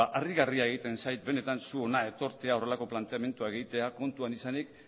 harrigarria egiten zait benetan zu hona etortzea horrelako planteamenduak egitera kontuan izanik